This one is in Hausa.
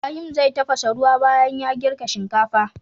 Ibahim zai tafasa ruwa banyan ya girka shinkafa